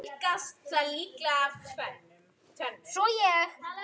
Þinn bróðir Ragnar og Gréta.